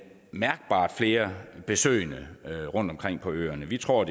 mærkbart flere besøgende rundt omkring på øerne vi tror